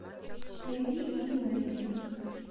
найди ю на тв